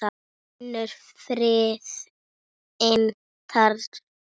Finnur friðinn þar.